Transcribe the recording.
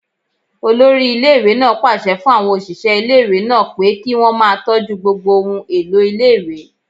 Olórí iléèwé náà pàṣẹ fún àwọn òṣìṣẹ́ iléèwé náà pé kí wọ́n máa tọ́jú gbogbo ohun èlò iléèwé